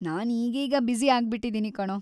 ನಾನ್‌ ಈಗೀಗ ಬ್ಯುಸಿ ಆಗ್ಬಿಟಿದೀನಿ ಕಣೋ.